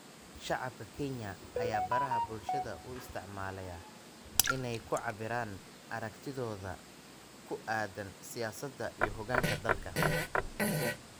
Shacabka Kenya ayaa baraha bulshada u isticmaalaya inay ku cabiraan aragtidooda ku aaddan siyaasadda iyo hoggaanka dalka.